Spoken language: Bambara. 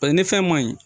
Paseke ni fɛn man ɲi